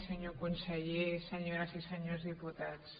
senyor conseller senyores i senyors diputats